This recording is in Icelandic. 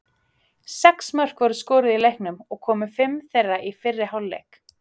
Sex mörk voru skoruð í leiknum og komu fimm þeirra í fyrri hálfleik.